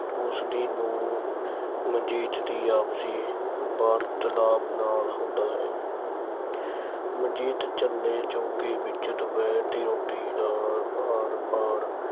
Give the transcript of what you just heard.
ਉਸ ਦੀ ਨੂੰਹ ਮਨਜੀਤ ਦੀ ਆਪਸੀ ਵਾਰਤਾਲਾਪ ਨਾਲ ਹੁੰਦਾ ਹੈ ਮਨਜੀਤ ਚੁੱਲ੍ਹੇ-ਚੌਂਕੇ ਵਿੱਚ ਦੁਪਹਿਰ ਦੀ ਰੋਟੀ ਦਾ ਕੰਮਕਾਰ